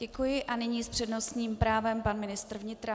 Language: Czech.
Děkuji a nyní s přednostním právem pan ministr vnitra.